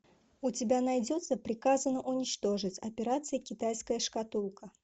у тебя найдется приказано уничтожить операция китайская шкатулка